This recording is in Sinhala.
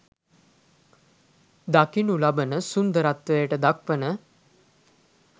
දකිනු ලබන සුන්දරත්වයට දක්වන